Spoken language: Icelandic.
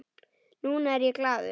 Núna er ég glaður.